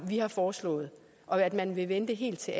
har foreslået og at man vil vente helt til